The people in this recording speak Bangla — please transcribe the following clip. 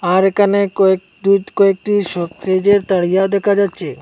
আর এখানে কয়েকটুথ কয়েকটি স ফ্রিজের তারিয়া দেখা যাচ্ছে।